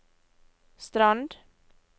Strand